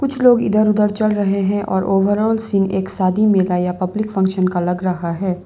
कुछ लोग इधर उधर चल रहे हैं और ओवरऑल सीन्स एक शादी मिलाया पब्लिक फंक्शन का लग रहा है।